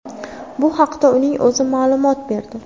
Bu haqda uning o‘zi ma’lumot berdi.